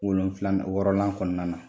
Wolonfila wɔɔrɔnan kɔnɔna na